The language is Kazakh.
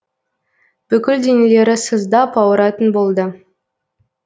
бүкіл денелері сыздап ауыратын болды